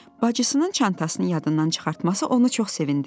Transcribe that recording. Bacıısının çantasını yadından çıxartması onu çox sevindirdi.